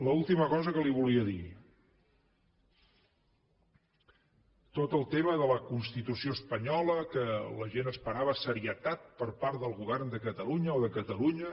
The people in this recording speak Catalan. l’última cosa que li volia dir tot el tema de la constitució espanyola que la gent esperava serietat per part del govern de catalunya o de catalunya